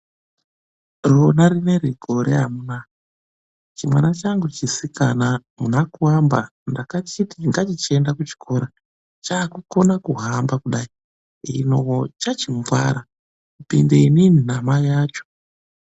Rona rineri gore amunaa, chimwana changu chisikana muna Kuamba ndakachiti ngachichienda kuchikora. Chaakukona kuhamba kudai, ino chachingwara kupinde inini namai acho.